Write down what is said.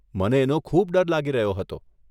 મને એનો ખૂબ ડર લાગી રહ્યો હતો.